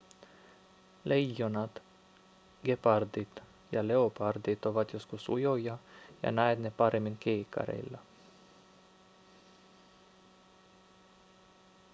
leijonat gepardit ja leopardit ovat joskus ujoja ja näet ne paremmin kiikareilla